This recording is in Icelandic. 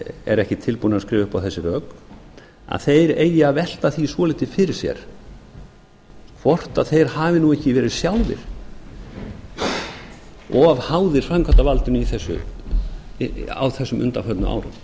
er ekki tilbúinn að skrifa upp á þessi rök eigi að velta því svolítið fyrir sér hvort þeir hafi nú ekki verið sjálfir of háðir framkvæmdarvaldinu á þessum undanförnu árum